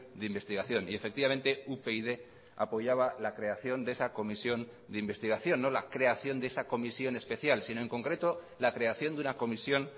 de investigación y efectivamente upyd apoyaba la creación de esa comisión de investigación no la creación de esa comisión especial sino en concreto la creación de una comisión